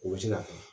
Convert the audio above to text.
O bɛ se ka kɛ